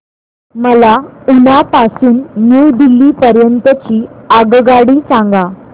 मला उना पासून न्यू दिल्ली पर्यंत ची आगगाडी सांगा